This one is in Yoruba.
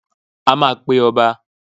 A máa pe ọba.